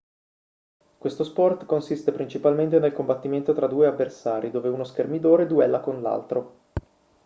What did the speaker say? questo sport consiste principalmente nel combattimento tra due avversari dove uno schermidore duella con l'altro